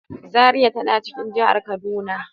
Zaria tana cikin jihar kaduna.